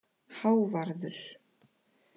Hávarður